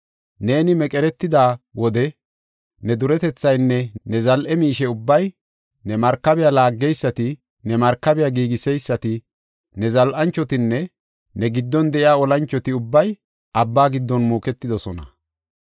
Neeni meqeretida wode ne duretethaynne ne zal7e miishe ubbay, ne markabiya laaggeysati, ne markabiya giigiseysati, ne zal7anchotinne ne giddon de7iya olanchoti ubbay abba giddon muuketidosona.